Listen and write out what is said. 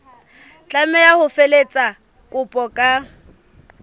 tlameha ho felehetsa kopo ka